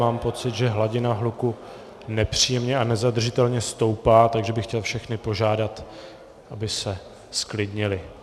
Mám pocit, že hladina hluku nepříjemně a nezadržitelně stoupá, tak bych chtěl všechny požádat, aby se zklidnili.